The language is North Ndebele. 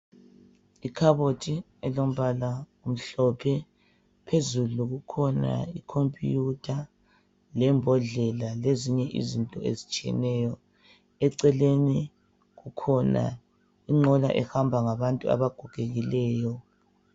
Ikaboti elombala omhlophe. Phezulu kukhona ikompuyuta lembodlela lezinye izinto ezitshiyeneyo. Eceleni kukhona inqola ehamba ngabantu abagogekileyo.